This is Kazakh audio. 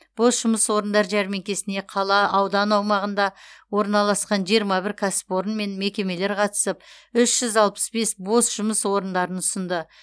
бос жұмыс орындар жәрмеңкесіне қала аудан аумағында орналасқан жиырма бір кәсіпорын мен мекемелер қатысып үш жүз алпыс бес бос жұмыс орындарын ұсынды